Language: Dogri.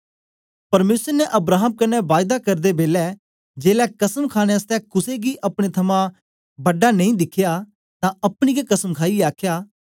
परमेसर ने अब्राहम कन्ने बायदा करदे बेलै जेलै कसम खाणे आसतै कुसे गी अपने थमां बड़ा नेई दिखया तां अपनी गै कसम खाईयै आखया